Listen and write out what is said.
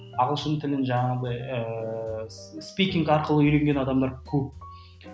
ағылшын тілін жаңағыдай ыыы спикинг арқылы үйренген адамдар көп